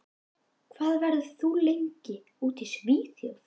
Hvað verður þú lengi úti í Svíþjóð?